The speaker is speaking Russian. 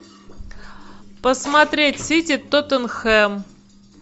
посмотреть сити тоттенхэм